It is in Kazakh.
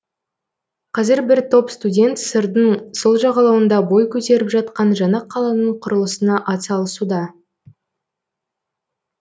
қазір бір топ студент сырдың сол жағалауында бой көтеріп жатқан жаңа қаланың құрылысына атсалысуда